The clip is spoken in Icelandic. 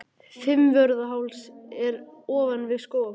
Fimmvörðuháls er ofan við Skógafoss.